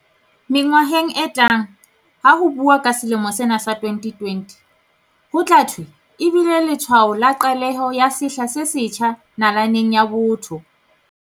Mengwaheng e tlang ha ho buuwa ka selemo sena sa 2020, ho tla thwe e bile letshwao la qaleho ya sehla se setjha na-laneng ya botho.